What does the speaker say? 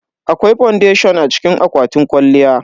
Akwai fondation a cikin akwatin kwalliya.